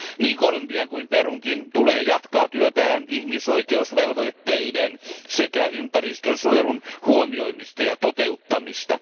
Niin Kolumbian kuin Perunkin tulee jatkaa työtään ihmisoikeusvelvoitteiden sekä ympäristönsuojelun huomioimista ja toteuttamista.